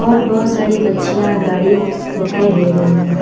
और बहुत सारी बच्चियाँ गाड़ी दिखाई दे रही हैं।